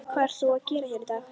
Hvað ert þú að gera hér í dag?